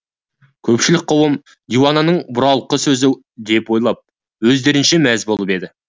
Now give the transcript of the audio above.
көпшілік қауым диуананың бұралқы сөзі деп ойлап өздерінше мәз болып еді